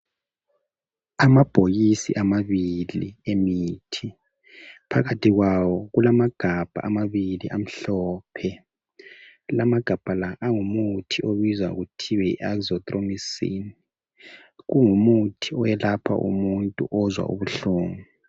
Amabhokisi amabili emithi, phakathi kwawo kulamagabha amabili amhlophe, lamagabha la angumuthi obizwa kuthiwa yi Azithromycin, kungumuthi oyelapha umuntu ozwa ubuhlungu